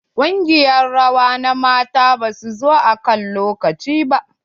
Ƙungiyar rawa na matan ba su zo akan lokaci ba.